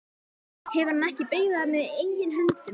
Hefur hann ekki byggt það með eigin höndum?